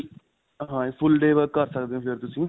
ਹਾਂਜੀ full day work ਕਰ ਸਕਦੇ ਹੋ ਤੁਸੀਂ.